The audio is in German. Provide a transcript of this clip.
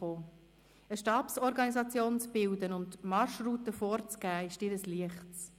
Eine Stabsorganisation zu bilden und die Marschroute vorzugeben, ist dir ein Leichtes.